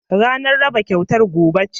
Ranar raba kyautar gobe ce